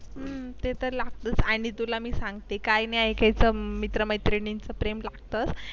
हम्म ते तर लागतोच आणि तुला मी सांगते काय नाही ऐकायचं मित्र-मैत्रिणींचे प्रेम ते तर लागतोच.